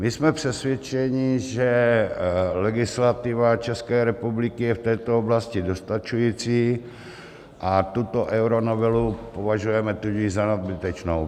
My jsme přesvědčeni, že legislativa České republiky je v této oblasti dostačující, a tuto euronovelu považujeme tudíž za nadbytečnou.